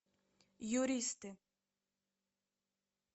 юристы